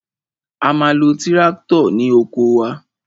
A ma lo tíráktọ̀ ní oko wa.